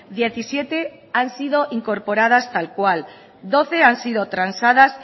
diecisiete han sido incorporadas tal cual doce han sido transadas